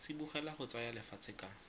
tsibogela go tsaya lefatshe ka